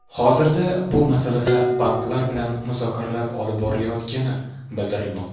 Hozirda bu masalada banklar bilan muzokaralar olib borilayotgani bildirilmoqda.